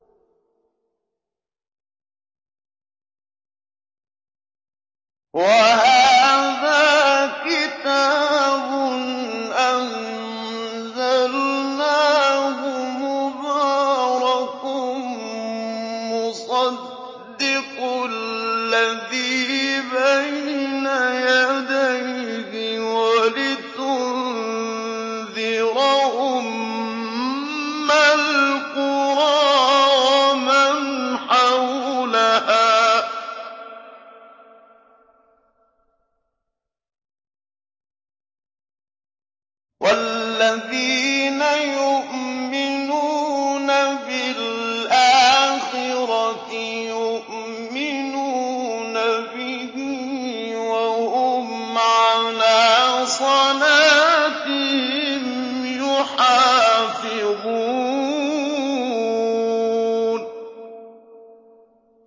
وَهَٰذَا كِتَابٌ أَنزَلْنَاهُ مُبَارَكٌ مُّصَدِّقُ الَّذِي بَيْنَ يَدَيْهِ وَلِتُنذِرَ أُمَّ الْقُرَىٰ وَمَنْ حَوْلَهَا ۚ وَالَّذِينَ يُؤْمِنُونَ بِالْآخِرَةِ يُؤْمِنُونَ بِهِ ۖ وَهُمْ عَلَىٰ صَلَاتِهِمْ يُحَافِظُونَ